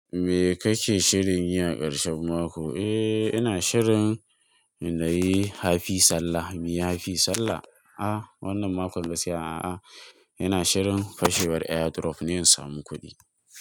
Me ka ke shirin yi a karshen mako? Eh, ina shirin na yi hafi sallah. In yi hafi sallah? A'a wannan makon da ke si, a'a, ina shirin fashewar airdrop ne in samu kuɗi.